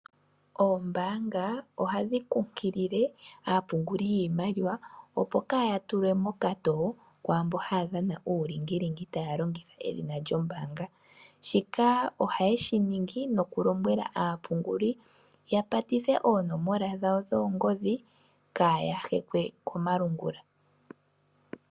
Oombaanga ohadhi kunkilile aapunguli yiimaliwa opo kaaya tulwe mokatoo kwaambo haya dhana uulingilingi taya longitha edhina lyombaanga. Shika ohaye shi ningi nokulombwela aapunguli ya patithe oonomola dhawo dhoongodhi kaaya hekwe komalungula.